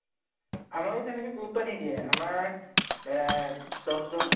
আমাৰো তেনেকে গুৰুত্ব নিদিয়ে আমাৰ এহ দশ জন